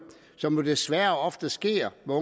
som jo desværre ofte sker med